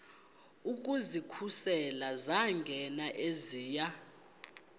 ukuzikhusela zangena eziya